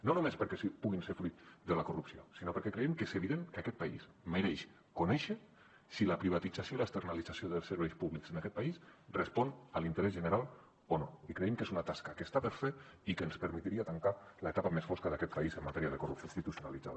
no només perquè puguin ser fruit de la corrupció sinó perquè creiem que és evident que aquest país mereix conèixer si la privatització i l’externalització dels serveis públics en aquest país respon a l’interès general o no i creiem que és una tasca que està per fer i que ens permetria tancar l’etapa més fosca d’aquest país en matèria de corrupció institucionalitzada